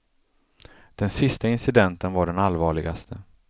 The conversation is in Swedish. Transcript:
Den sista incidenten var den allvarligaste.